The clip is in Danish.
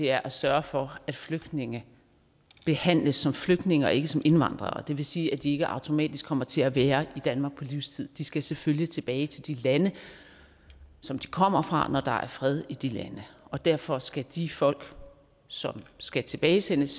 er at sørge for at flygtninge behandles som flygtninge og ikke som indvandrere og det vil sige at de ikke automatisk kommer til at være i danmark på livstid de skal selvfølgelig tilbage til de lande som de kommer fra når der er fred i de lande og derfor skal de folk som skal tilbagesendes